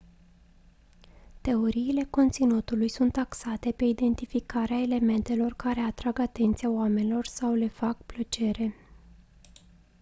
teoriile conținutului sunt axate pe identificarea elementelor care atrag atenția oamenilor sau le fac plăcere